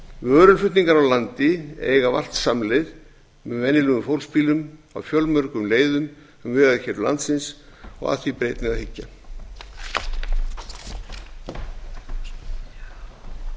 vöruflutningar á landi eiga vart samleið með venjulegum fólksbílum á fjölmörgum leiðum um vegakerfi landsins og að því ber einnig að hyggja